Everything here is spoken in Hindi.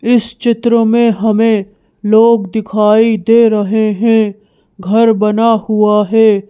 इस चित्र में हमें लोग दिखाई दे रहे हैं घर बना हुआ है।